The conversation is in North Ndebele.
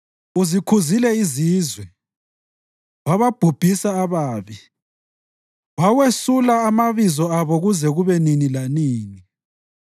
Uzikhuzile izizwe, wababhubhisa ababi; wawesula amabizo abo kuze kube nini lanini.